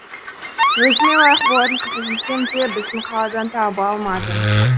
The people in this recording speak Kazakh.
өзіме лайық болатын қыз іздесем де біздің қаладан таба алмадым